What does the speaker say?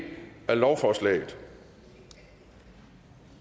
af lovforslaget og